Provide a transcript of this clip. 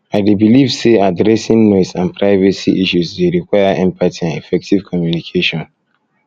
i dey believe say say addressing noise and privacy issues dey require empathy and effective communication